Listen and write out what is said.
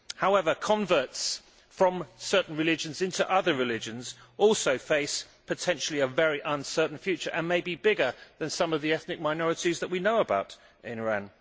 However, converts from certain religions to other religions also face, potentially, a very uncertain future and may be bigger than some of the ethnic minorities that we know about in Iran.